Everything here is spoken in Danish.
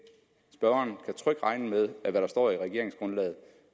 spørgeren kan trygt regne med at hvad der står i regeringsgrundlaget